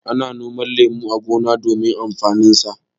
Ana noman lemu a gona domin amfaninsa.